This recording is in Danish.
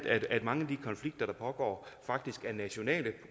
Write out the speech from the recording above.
at mange af de konflikter der pågår faktisk er nationale